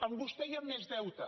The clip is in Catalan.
amb vostè hi ha més deute